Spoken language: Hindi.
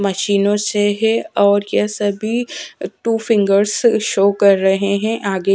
मशीनों से है और कैसे भी टू फिंगर्स शो कर रहे हैं आगे--